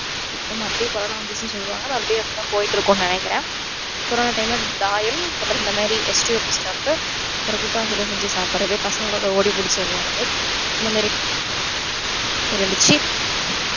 இபோ மறுபடியும் கொரொனா வந்துருச்சுன்னு சொல்றாங்களோ மறுபடியும் அப்படி தான் போயிட்டு இருக்கும்னு நினைக்கிறன் கொரொனா time ல தாயம் அப்பறோம் இந்த மாதிரி அப்புறம் கூட்டாஞ்சோறு செஞ்சு சாப்பிடுறது பசங்களோட ஓடி புடிச்சி விளையாடுறது இந்த மாதிரிலாம் இருந்திச்சு